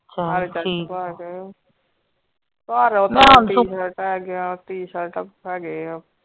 tshirt ਹੈਗੀਆਂ t-shirt ਹੈਗੇ ਆ।